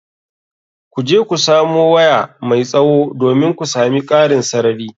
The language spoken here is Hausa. Ku je ku samo waya mai tsawo, domin ku sami ƙarin sarari.